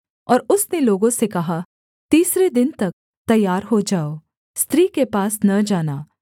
और उसने लोगों से कहा तीसरे दिन तक तैयार हो जाओ स्त्री के पास न जाना